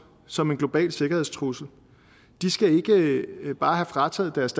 som en global sikkerhedstrussel de skal ikke bare have frataget deres